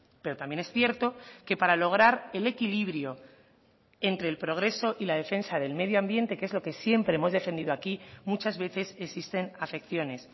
pero también es cierto que para lograr el equilibrio entre el progreso y la defensa del medio ambiente que es lo que siempre hemos defendido aquí muchas veces existen afecciones